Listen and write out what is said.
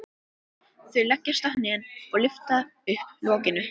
Þau leggjast á hnén og lyfta upp lokinu.